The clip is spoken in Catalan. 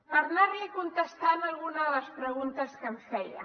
per anar li contestant alguna de les preguntes que em feia